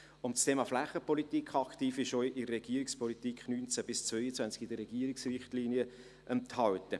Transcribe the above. Das Thema Flächenpolitik aktiv ist auch in der Regierungspolitik 2019–2022, in den Regierungsrichtlinien enthalten.